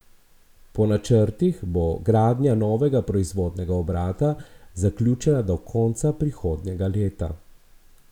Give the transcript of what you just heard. Po načrtih bo gradnja novega proizvodnega obrata zaključena do konca prihodnjega leta.